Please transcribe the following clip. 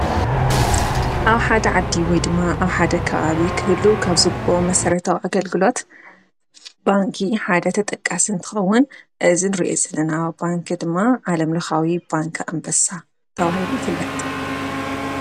ኣብ ሓደ ዓዲ ወይ ድማ ኣብ ሓደ ከባቢ ክህሉ ካብ ዝግበኦ መሰረታዊ ኣገልግሎት ባንኪ ሓደ ተጠቃሲ እንትከውን እዚ ንርኦ ዘለና ባንኪ ድማ ዓለምልኻዊ ባንክ ኣንበሳ ተባሂሉ ይፍለጥ።